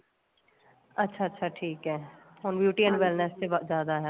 ਅੱਛਾ ਅੱਛਾ ਠੀਕ ਏ ਹੁਣ beauty and wellness ਤੇ ਜਿਆਦਾ ਏ